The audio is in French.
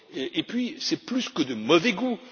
et puis, c'est plus que de mauvais goût.